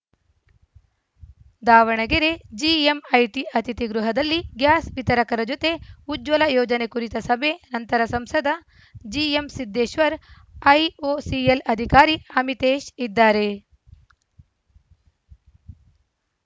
Davanagere GMIT ಅತಿಥಿ ಗೃಹದಲ್ಲಿ gas ವಿತರಕರ ಜೊತೆ ಉಜ್ವಲ ಯೋಜನೆ ಕುರಿತ ಸಭೆ ನಂತರ ಸಂಸದ ಜಿಎಂಸಿದ್ದೇಶ್ವರ್ ಐಓಸಿಎಲ್‌ ಅಧಿಕಾರಿ ಅಮಿತೇಶ್‌ ಇದ್ದಾರೆ